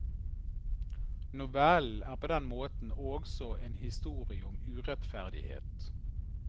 Novellen er på den måten også en historie om urettferdighet.